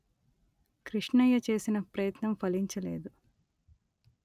కృష్ణయ్య చేసిన ప్రయత్నం ఫలించలేదు